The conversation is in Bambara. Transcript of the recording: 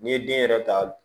N'i ye den yɛrɛ ta